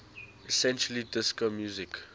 essentially disco music